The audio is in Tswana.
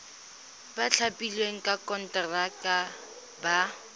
ba thapilweng ka konteraka ba